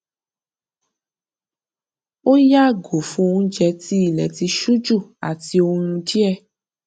ó yààgò fún oúnjẹ tí ilẹ tí ṣú jù àti oorun díẹ